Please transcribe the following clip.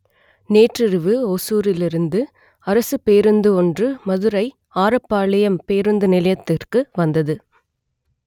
நேற்றிரவு ஓசூரில் இருந்து அரசுப் பேருந்து ஒன்று மதுரை ஆரப்பாளையம் பேருந்து நிலையத்திற்கு வந்தது